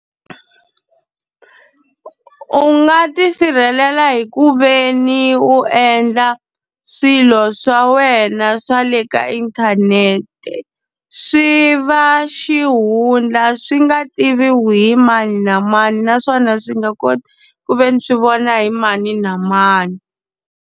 U nga tisirhelela hi ku ve ni u endla swilo swa wena swa le ka inthanete, swi va xihundla swi nga tiviwi hi mani na mani naswona swi nga koti ku ve ni swi vona hi mani na mani.